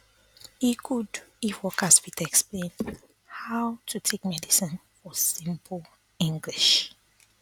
e good if workers fit explain how to take medicine for simple english